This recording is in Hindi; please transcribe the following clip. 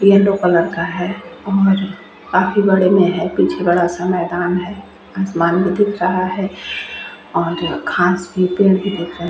ये येलो कलर का है और काफी बड़े में है पीछे बड़ा-सा मैदान है आसमान भी दिख रहा है और घास भी पुल भी दिख रहा है।